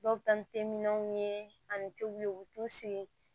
Dɔw bɛ taa ni teminɛnw ye ani tebulu ye u bɛ t'u sigi